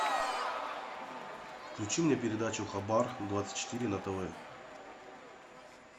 включи мне передачу хабар двадцать четыре на тв